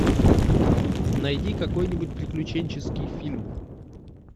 найди какой нибудь приключенческий фильм